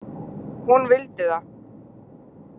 Hún vildi það.